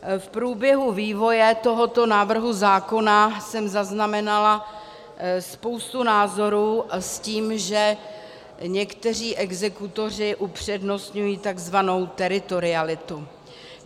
V průběhu vývoje tohoto návrhu zákona jsem zaznamenala spoustu názorů s tím, že někteří exekutoři upřednostňují tzv. teritorialitu.